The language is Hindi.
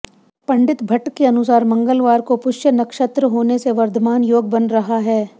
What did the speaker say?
पं भट्ट के अनुसार मंगलवार को पुष्य नक्षत्र होने से वर्धमान योग बन रहा है